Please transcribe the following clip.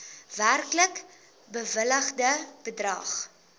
werklik bewilligde bedrag